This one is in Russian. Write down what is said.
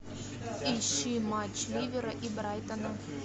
ищи матч ливера и брайтона